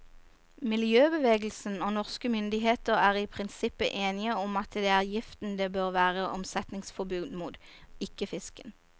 Miljøbevegelsen og norske myndigheter er i prinsippet enige om at det er giften det bør være omsetningsforbud mot, ikke fisken.